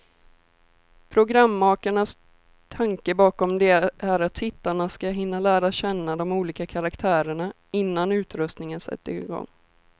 Programmakarnas tanke bakom det är att tittarna ska hinna lära känna de olika karaktärerna, innan utröstningen sätter igång.